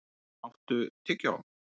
Hákon, áttu tyggjó?